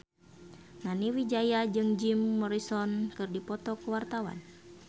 Nani Wijaya jeung Jim Morrison keur dipoto ku wartawan